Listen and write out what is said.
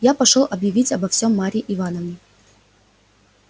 я пошёл объявить обо всем марье ивановне